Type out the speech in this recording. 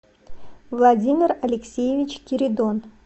владимир алексеевич киридон